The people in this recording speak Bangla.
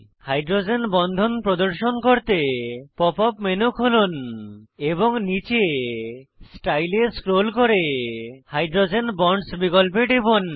হাইড্রোজেন বন্ধন প্রদর্শন করতে পপ আপ মেনু খুলুন এবং নীচে স্টাইল এ স্ক্রোল করে হাইড্রোজেন বন্ডস বিকল্পে যান